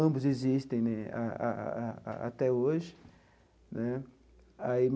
Ambos existem ah até hoje né aí.